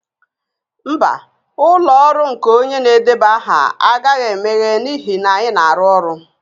Mba, ụlọ ọrụ nke onye na-edeba aha agaghị emeghe n'ihi na anyị na-arụ ọrụ